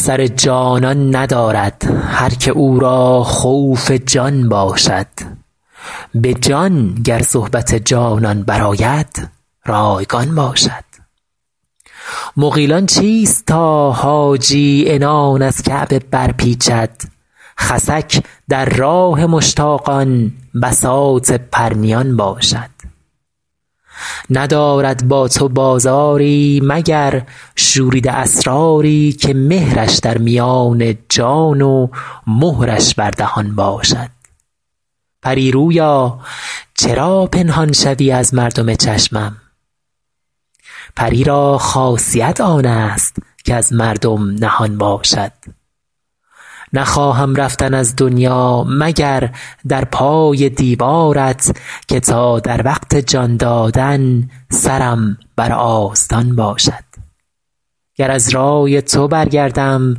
سر جانان ندارد هر که او را خوف جان باشد به جان گر صحبت جانان برآید رایگان باشد مغیلان چیست تا حاجی عنان از کعبه برپیچد خسک در راه مشتاقان بساط پرنیان باشد ندارد با تو بازاری مگر شوریده اسراری که مهرش در میان جان و مهرش بر دهان باشد پری رویا چرا پنهان شوی از مردم چشمم پری را خاصیت آن است کز مردم نهان باشد نخواهم رفتن از دنیا مگر در پای دیوارت که تا در وقت جان دادن سرم بر آستان باشد گر از رای تو برگردم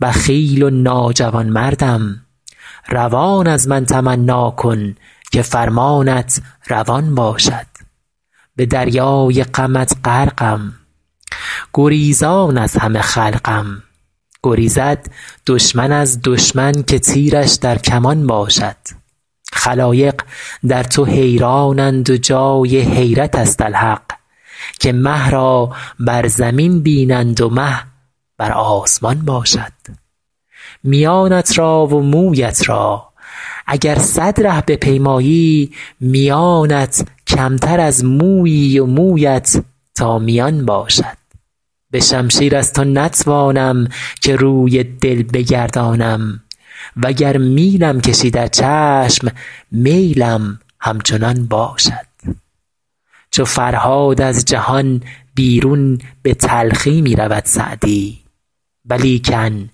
بخیل و ناجوانمردم روان از من تمنا کن که فرمانت روان باشد به دریای غمت غرقم گریزان از همه خلقم گریزد دشمن از دشمن که تیرش در کمان باشد خلایق در تو حیرانند و جای حیرت است الحق که مه را بر زمین بینند و مه بر آسمان باشد میانت را و مویت را اگر صد ره بپیمایی میانت کمتر از مویی و مویت تا میان باشد به شمشیر از تو نتوانم که روی دل بگردانم و گر میلم کشی در چشم میلم همچنان باشد چو فرهاد از جهان بیرون به تلخی می رود سعدی ولیکن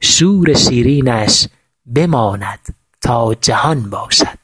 شور شیرینش بماند تا جهان باشد